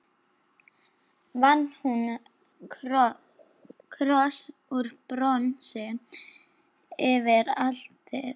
Vann hún kross úr bronsi yfir altarið.